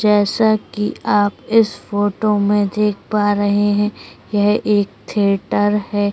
जैसा कि आप इस फोटो में देख पा रहे है यह एक थिएटर हैं।